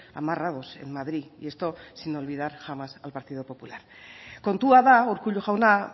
amarrados en madrid y esto sin olvidar jamás al partido popular kontua da urkullu jauna